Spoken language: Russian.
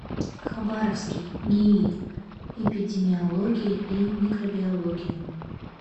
хабаровский нии эпидемиологии и микробиологии